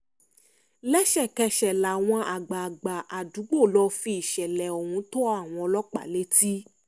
lẹ́sẹ̀kẹsẹ̀ làwọn àgbààgbà àdúgbò lọ́ọ́ fìṣẹ̀lẹ̀ ohun tó àwọn ọlọ́pàá létí